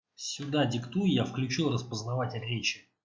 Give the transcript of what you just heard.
сюда диктуй я включил распознаватель речи